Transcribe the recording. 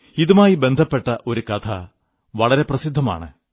ഇതുമായി ബന്ധപ്പെട്ട ഒരു കഥ വളരെ പ്രസിദ്ധമാണ്